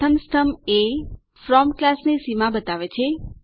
પ્રથમ સ્તંભ એ ફ્રોમ ક્લાસ ની સીમા બતાવે છે